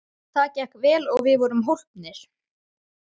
Það gekk vel og við vorum hólpnir.